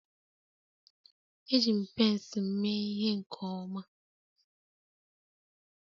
Eji m pence m mee ihe nke ọma